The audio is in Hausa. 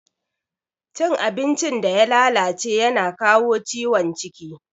Cin abincin da ya lalace yana kawo ciwon ciki.